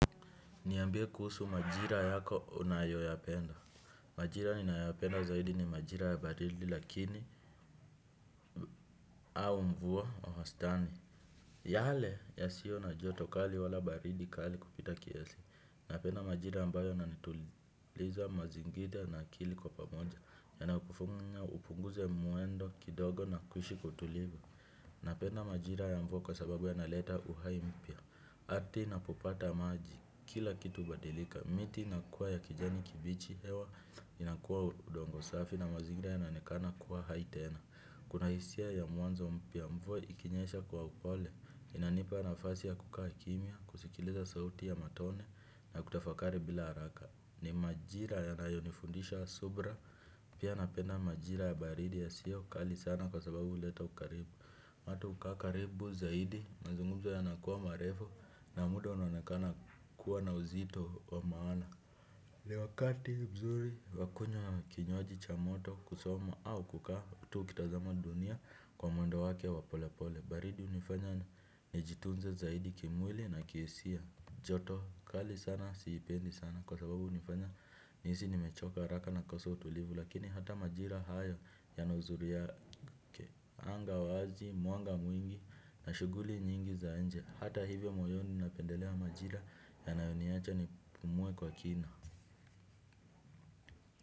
Niambie kuhusu majira yako unayoyapenda. Majira ninayo yapenda zaidi ni majira ya baridi lakini au mvua wahastani. Yale yasiyo na joto kali wala baridi kali kupita kiasi. Napenda majira ambayo yananituliza mazingira na akili kwa pamoja. Yana kufunya upunguze mwendo kidogo na kuishi kutulivu. Napenda majira ya mvua kwa sababu ya naleta uhai mpya. Wakati inapopata maji kila kitu hubadilika, miti inakuwa ya kijani kibichi hewa, inakuwa udongo safi na mazigira yanaonekana kuwa hai tena. Kunahisia ya mwanzo mpya mvua ikinyesha kwa upole, inanipa nafasi ya kukaa kimia, kusikiliza sauti ya matone na kutafakari bila haraka. Ni majira yanayonifundisha subra, pia napenda majira ya baridi ya siyo kali sana kwa sababu huleta ukaribu. Mato hukaa karibu zaidi mazungumzo yanakuwa marefu na muda unaonekana kuwa na uzito wa maana. Ni wakati mzuri wakunywa kinywaji cha moto kusoma au kukaa tu ukitazama dunia kwa mwendo wake wa pole pole. Baridi unifanya nijitunze zaidi kimwili na kihisia. Joto kali sana siipendi sana kwa sababu hunifanya nihisi nimechoka haraka nakosa utulivu. Lakini hata majira haya yanauzuri yake anga wazi mwanga mwingi na shuguli nyingi za nje. Hata hivyo moyoni napendelea majira yanayoniacha nipumue kwa kina.